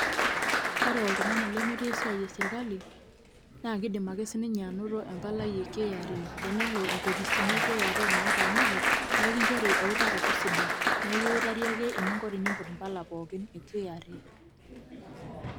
Ore oltung'ani lemetii esiai eserkali, nakidim ake sininye anoto empalai e KRA. Tenelo inkopisini e KRA nataaniki, na ekincho eutaroto sidai. Nekiutari ake eninko tenimput impala pookin e KRA.